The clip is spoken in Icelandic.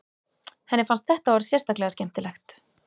Henni fannst þetta orð sérstaklega skemmtilegt.